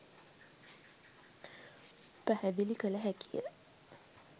පැහැදිලි කළ හැකිය.